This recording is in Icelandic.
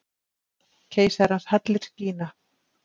Keisarans hallir skína.